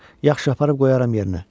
Yaxşı, aparıb qoyaram yerinə.